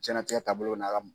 Diɲɛnatigɛ taabolo na ka